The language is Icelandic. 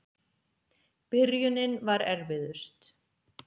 Byrjunin var erfiðust.